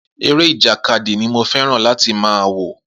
Eré ìjàkadì ni mo fé̩ràn láti máa wò